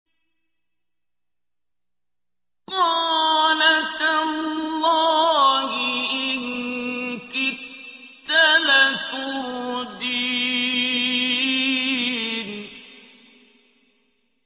قَالَ تَاللَّهِ إِن كِدتَّ لَتُرْدِينِ